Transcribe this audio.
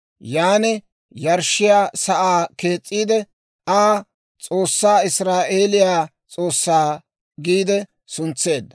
Yan yarshshiyaa sa'aa kees's'iide Aa, «S'oossaa, Israa'eeliyaa S'oossaa» giide suntseedda.